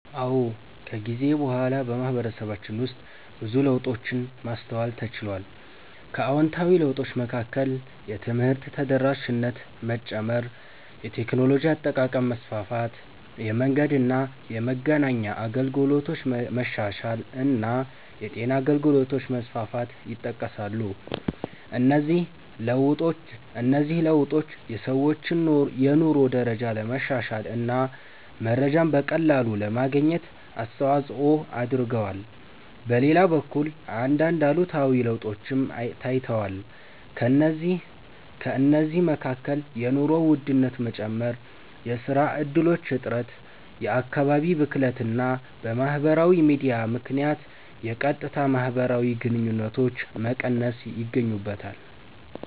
አዎ፣ ከጊዜ በኋላ በማህበረሰባችን ውስጥ ብዙ ለውጦችን ማስተዋል ተችሏል። ከአዎንታዊ ለውጦች መካከል የትምህርት ተደራሽነት መጨመር፣ የቴክኖሎጂ አጠቃቀም መስፋፋት፣ የመንገድና የመገናኛ አገልግሎቶች መሻሻል እና የጤና አገልግሎቶች መስፋፋት ይጠቀሳሉ። እነዚህ ለውጦች የሰዎችን የኑሮ ደረጃ ለማሻሻል እና መረጃን በቀላሉ ለማግኘት አስተዋጽኦ አድርገዋል። በሌላ በኩል አንዳንድ አሉታዊ ለውጦችም ታይተዋል። ከእነዚህ መካከል የኑሮ ውድነት መጨመር፣ የሥራ እድሎች እጥረት፣ የአካባቢ ብክለት እና በማህበራዊ ሚዲያ ምክንያት የቀጥታ ማህበራዊ ግንኙነቶች መቀነስ ይገኙበታል።